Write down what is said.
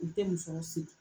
U tɛ musɔrɔ siri